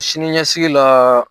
Sini ɲɛsigi la